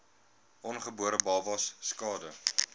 ongebore babas skade